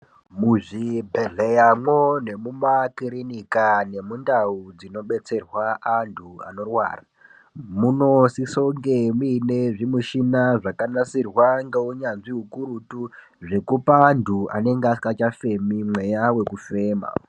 Muzvibhedhleramwo nemumakirinika nemundau dzinobetserwa anthu anorwara, munosisa kunge muine zvimushina zvakanasirwa ngeunyanzvi ukurutu zvekupa anthu anenge asikachafemi mweya wekufema.